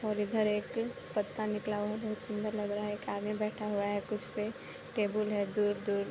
और इधर एक पत्ता निकला हुआ बहुत सुन्दर लग रहा है एक आदमी बैठा हुआ है कुछ पे टेबुल है दूर दूर।